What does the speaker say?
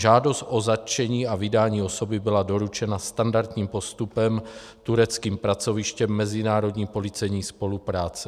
Žádost o zatčení a vydání osoby byla doručena standardním postupem tureckým pracovištěm mezinárodní policejní spolupráce.